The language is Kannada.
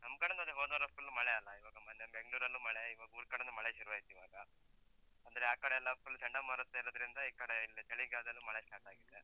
ನಮ್ಕಡೆನೂ ಅದೇ, ಹೋದ್ವಾರ full ಮಳೆ ಅಲ್ಲ? ಇವಾಗ ಮೊನ್ನೆ Bangalore ಲ್ಲೂ ಮಳೆ, ಇವಾಗ್ ಊರ್ಕಡೆನೂ ಮಳೆ ಶುರುವಾಯ್ತೀವಾಗ, ಅಂದ್ರೆ ಆ ಕಡೆಯೆಲ್ಲ full ಚಂಡಮಾರುತ ಇರುದ್ರಿಂದ, ಈ ಕಡೆ ಇಲ್ಲಿ ಚಳಿಗಾಲದಲ್ಲೂ ಮಳೆ start ಆಗಿದೆ.